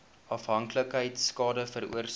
afhanklikheid skade veroorsaak